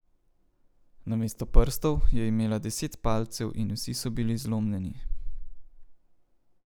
Namesto prstov je imela deset palcev in vsi so bili zlomljeni.